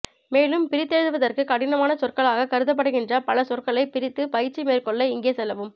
மேலும் பிரித்தெழுதுவதற்கு கடினமானச் சொற்களாகக் கருதப்படுகின்ற பல சொற்களைப் பிரித்து பயிற்சி மேற்கொள்ள இங்கே செல்லவும்